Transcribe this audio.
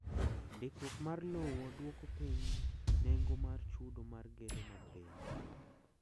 Ndikruok mar lowo dwoko piny nengo mar chudo mar gedo mag piny.